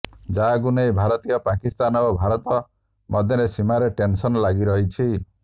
ଯାହାକୁ ନେଇ ଉଭୟ ପାକିସ୍ତାନ ଓ ଭାରତ ମଧ୍ୟରେ ସୀମାରେ ଟେନସନ ଲାଗି ରହିଛି